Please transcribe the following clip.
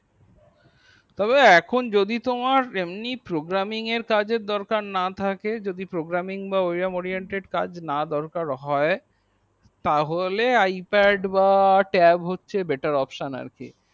তবে এখন যদি তোমার এমনি programming এর কাজ এর দরকার না থাকে যদি programming বা warrium warriented কাজ না দরকার না হয় তাহলে আই pad বা lap top হচ্ছে better option আর কি